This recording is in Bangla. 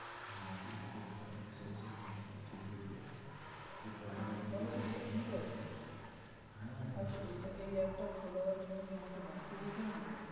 তাহলে সেটা ঠিক আছে আচ্ছা এই app টা খোলের জন্য ব্যাংকে যেতে হবে তো.